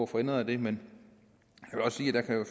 få ændret det men